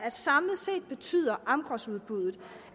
at samlet set betyder amgrosudbuddet